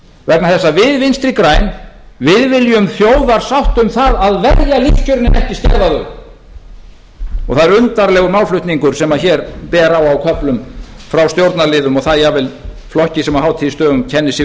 vegna þess að við vinstri græn viljum þjóðarsátt um það að verja lífskjörin en ekki skerða þau og það er undarlegur málflutningur sem hér ber á á köflum frá stjórnarliðum og það jafnvel flokki sem á hátíðisdögum kennir sig við